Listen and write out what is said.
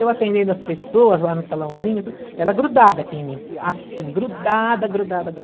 Eu atendendo as pessoas lá no salãozinho, tudo, ela grudada aqui em mim, assim, grudada, grudada, grudada.